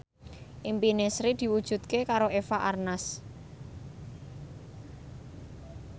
impine Sri diwujudke karo Eva Arnaz